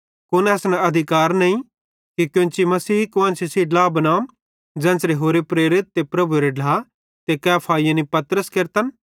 कुन असन अधिकार नईं कि कोन्ची मसीही कुआन्शी सेइं ड्ला बनाम ज़ेन्च़रे होरे प्रेरित ते प्रभुएरे ढ्ला ते कैफा यानी पतरस केरतन